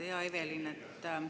Hea Evelin!